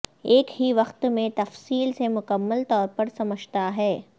ایک ہی وقت میں تفصیل سے مکمل طور پر سمجھتا ہے